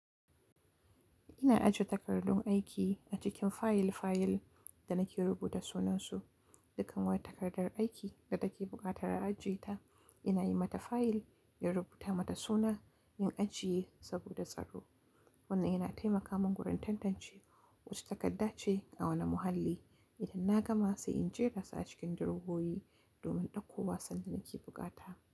Ina aje takardun aiki a cikin fayil fayil da nake rubuta sunansu. Dukkan wata takardar aiki da take buƙatar ajiye ta, ina yi mata fayil, in rubuta mata suna, in ajiye saboda tsaro. Wannan yana taimaka min wurin tantance wace takarda ce a wane muhalli idan na gama sai in jera su a cikin durowowi domin ɗauko wa sanda nake bukata.